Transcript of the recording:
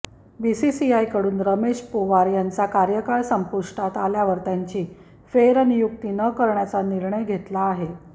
बीसीसीआयकडून रमेश पोवार यांचा कार्यकाळ संपुष्टात आल्यावर त्यांची फेरनियुक्ती न करण्याचा निर्णय घेतला आहे